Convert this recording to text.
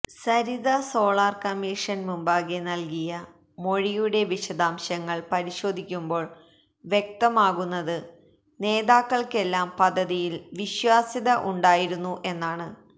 Saritha solar commission മുമ്പാകെ നൽകിയ മൊഴിയുടെ വിശദാംശങ്ങൾ പരിശോധിക്കുമ്പോൾ വ്യക്തമാകുന്നത് നേതാക്കൾക്കെല്ലാം പദ്ധതിയിൽ വിശ്വാസ്യത ഉണ്ടായിരുന്നു എന്നാണ്